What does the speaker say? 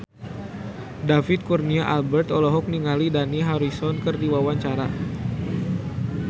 David Kurnia Albert olohok ningali Dani Harrison keur diwawancara